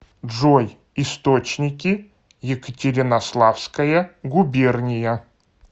джой источники екатеринославская губерния